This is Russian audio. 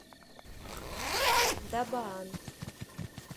дабаан